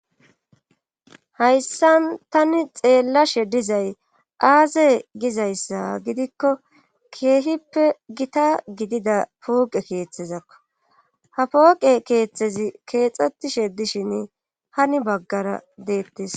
Hayssa tani xeellashe dizay aaze gizayssa gidikko keehippe gita gidida pooqe keeththezakko. ha pooqe keeththezi keexxetishe dishin hani baggara deettes.